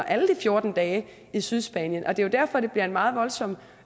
alle de fjorten dage i sydspanien og det er derfor at det bliver en meget voldsom